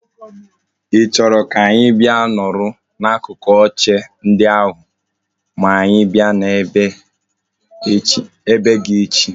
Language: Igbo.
I choro ka anyi bia nọrọ n'akụkụ oche ndị ahụ ma anyi bia na be gi echi?